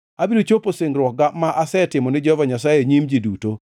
Abiro chopo singruokga ma asetimo ne Jehova Nyasaye e nyim ji duto,